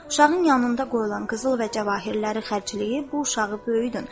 Uşağın yanında qoyulan qızıl və cəvahirləri xərcləyib bu uşağı böyüdün.